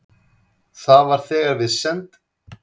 Það var þegar við send